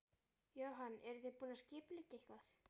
Jóhann: Eruð þið búin að skipuleggja eitthvað?